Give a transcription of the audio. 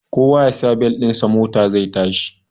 Kowa yasa bel ɗin sa mota zai yashi